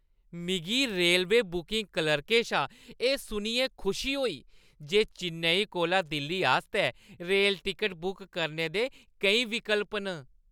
मिगी railway booking क्लर्कै शा एह् सुनियै खुशी होई जे चेन्नई कोला दिल्ली आस्तै रेल टिकट बुक करने दे केईं विकल्प न।